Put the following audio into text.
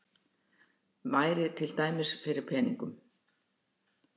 Væri til dæmis fyrir peningum.